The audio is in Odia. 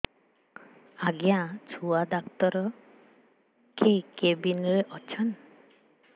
ଆଜ୍ଞା ଛୁଆ ଡାକ୍ତର କେ କେବିନ୍ ରେ ଅଛନ୍